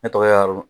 Ne tɔgɔ ye